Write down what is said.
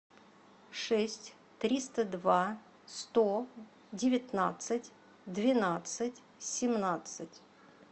шесть триста два сто девятнадцать двенадцать семнадцать